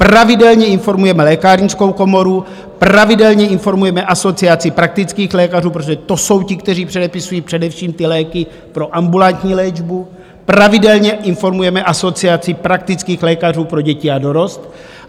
Pravidelně informujeme lékárnickou komoru, pravidelně informujeme Asociaci praktických lékařů, protože to jsou ti, kteří předepisují především ty léky pro ambulantní léčbu, pravidelně informujeme Asociaci praktických lékařů pro děti a dorost.